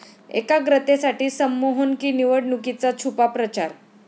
एकाग्रतेसाठी संमोहन की निवडणुकीचा छुपा प्रचार?